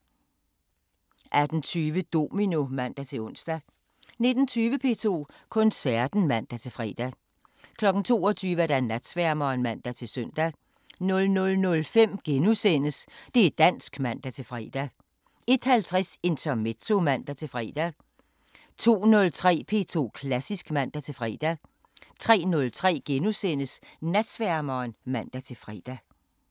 18:20: Domino (man-ons) 19:20: P2 Koncerten (man-fre) 22:00: Natsværmeren (man-søn) 00:05: Det' dansk *(man-fre) 01:50: Intermezzo (man-fre) 02:03: P2 Klassisk (man-fre) 03:03: Natsværmeren *(man-fre)